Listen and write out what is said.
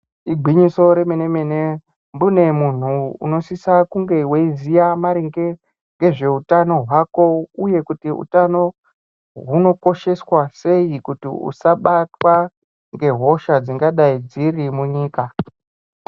Igwinyiso remenemene mbune munhu unosisa kunge weiziya maringe ngezveutano hwako uye utano hunokosheswa sei kuti usabatwa ngehosha dzingadai dziri munyika.